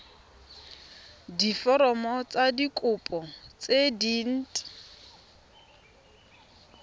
diforomo tsa kopo tse dint